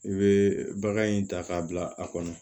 I bɛ bagan in ta k'a bila a kɔnɔ